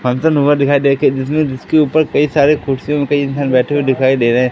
function हुआ दिखाई दे के जिसमें जिसके ऊपर कई सारे कुर्सियों पे इंसान बैठे हुएं दिखाई दे रहे--